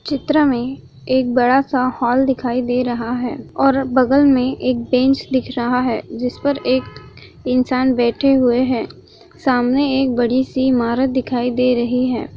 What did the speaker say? चित्र मे एक बड़ा सा हॉल दिखाई दे रहा है और बगल मे एक बेंच दिख रहा है जिसपर एक इंसान बैठे हुए है सामने एक बड़ी सी इमारत दिखाई दे रही है।